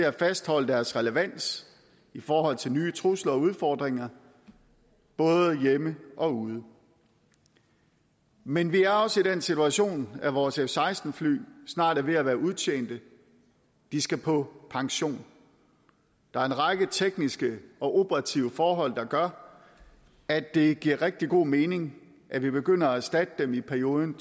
at fastholde deres relevans i forhold til nye trusler og udfordringer både hjemme og ude men vi er også i den situation at vores f seksten fly snart er ved at være udtjente de skal på pension der er en række tekniske og operative forhold der gør at det giver rigtig god mening at vi begynder at erstatte dem i perioden